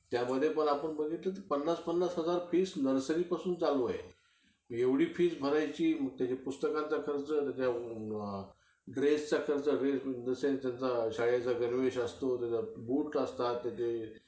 त्यामध्ये पण आपण बघितलं पन्नास-पन्नास हजार fees nursery पासून चालू आहे. एवढी fees भरायची, त्याच्या पुस्तकाचा खर्च, त्याच्या dress चा खर्च. dress in the sense त्यांचा शाळेचा गणवेश असतो. बूट असतात त्याचे.